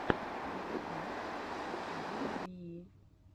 подкаст вивии